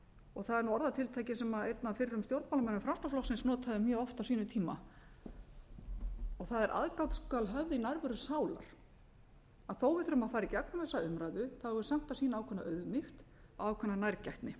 og það er nú orðatiltæki sem einn af fyrrum stjórnmálamönnum framsóknarflokksins notaði mjög oft á sínum tíma og það er aðgát skal höfð í nærveru sálar þó að við þurfum að fara í gegnum þessa umræðu eigum við samt að sýna ákveðna auðmýkt og ákveðna nærgætni